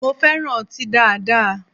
Mo fẹran ọti daada